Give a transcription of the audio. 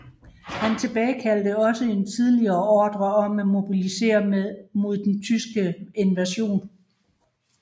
Han tilbagekaldte også en tidligere ordre om at mobilisere mod den tyske invasion